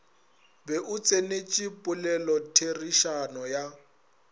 be o tsenetše polelotherišano ya